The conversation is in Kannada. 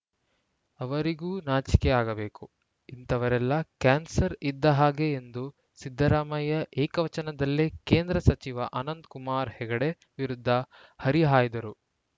ಅವರಿಗೂ ನಾಚಿಕೆ ಆಗಬೇಕು ಇಂಥವರೆಲ್ಲ ಕ್ಯಾನ್ಸರ್‌ ಇದ್ದ ಹಾಗೆ ಎಂದು ಸಿದ್ದರಾಮಯ್ಯ ಏಕವಚನದಲ್ಲೇ ಕೇಂದ್ರ ಸಚಿವ ಅನಂತ ಕುಮಾರ ಹೆಗಡೆ ವಿರುದ್ಧ ಹರಿಹಾಯ್ದರು